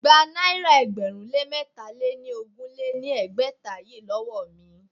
Gba náírà ẹgbẹ̀rún lé mẹ́tà lé ní ogún lé ní ẹgbẹ́ta yìí lówó mi!